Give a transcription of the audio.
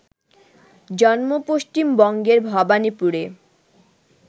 জন্ম পশ্চিম বঙ্গের ভবানীপুরে